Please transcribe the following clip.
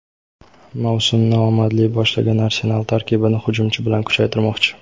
Mavsumni omadli boshlagan "Arsenal" tarkibini hujumchi bilan kuchaytirmoqchi;.